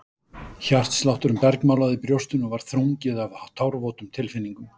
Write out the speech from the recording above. Hjartslátturinn bergmálaði í brjóstinu og var þrungið af tárvotum tilfinningum.